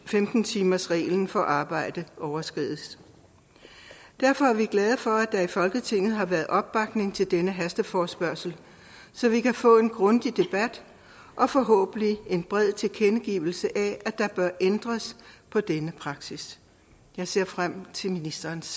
femten timersreglen for arbejde overskrides derfor er vi glade for at der i folketinget har været opbakning til denne hasteforespørgsel så vi kan få en grundig debat og forhåbentlig en bred tilkendegivelse af at der bør ændres på denne praksis jeg ser frem til ministerens